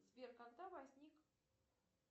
сбер когда возник